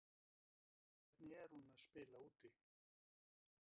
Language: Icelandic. Hvernig er hún að spila úti?